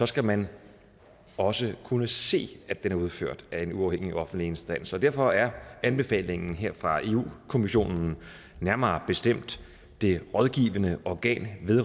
skal man også kunne se at den er udført af en uafhængig offentlig instans derfor er anbefalingen her fra europa kommissionen nærmere bestemt det rådgivende organ